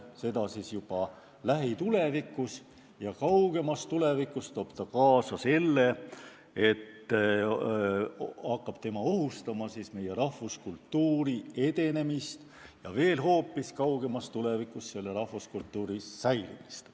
Seda siis juba lähitulevikus, kaugemas tulevikus aga hakkab see ohustama rahvuskultuuri edenemist ja veel kaugemas tulevikus rahvuskultuuri säilimist.